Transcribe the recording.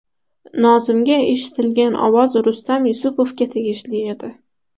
Nozimga eshitilgan ovoz Rustam Yusupovga tegishli edi.